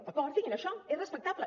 d’acord diguin això és respectable